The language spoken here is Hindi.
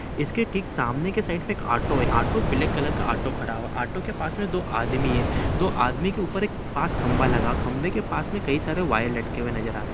इसके ठीक सामने के साइड एक ऑटो है। ऑटो ब्लैक कलर का ऑटो खड़ा हुआ। ऑटो के पास में दो आदमी हैं। दो आदमी के ऊपर एक पास खंबा लगा। खंबे के पास में कई सारे वायर लटके नजर आ रहे।